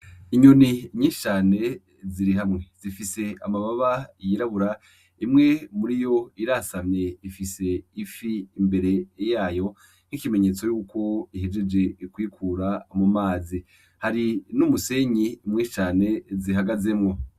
Inyoni nyishi cane ziri hamwe zifise amababa yirabura imwe muriyo irasamye ifise ifi imbere yayo nk'ikimenyetso yuko ihejeje kuyikura mumazi. Hari n'umusenyi mwinshi cane zihagazemwo.